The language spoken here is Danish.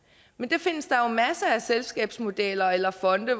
men der findes masser af selskabsmodeller eller fonde